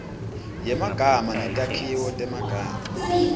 yemagama netakhiwo temagama